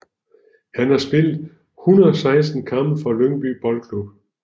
Han har spillet 116 kampe for Lyngby Boldklub